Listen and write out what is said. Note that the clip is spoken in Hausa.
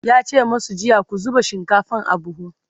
yace masu jiya " ku zuba shinkafan a buhu!"